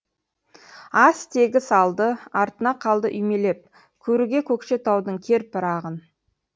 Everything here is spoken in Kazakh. ас тегіс алды артына қалды үймелеп көруге көкшетаудың кер пырағын